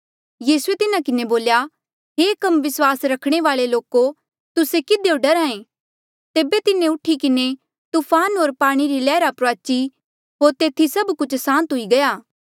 यीसूए तिन्हा किन्हें बोल्या हे कम विस्वास रखणे वाल्ऐ लोको तुस्से किधियो डरहा ऐें तेबे तिन्हें उठी किन्हें तूफान होर पाणी री लैहरा प्रुआची होर तेथी सभ कुछ सांत हुई गया